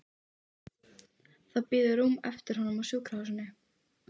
Það bíður rúm eftir honum á sjúkrahúsinu.